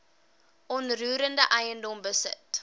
onroerende eiendom besit